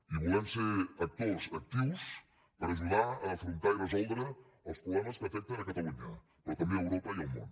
i volem ser actors actius per ajudar a afrontar i resoldre els problemes que afecten catalunya però també europa i el món